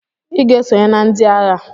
Iga esonye na ndi aha!!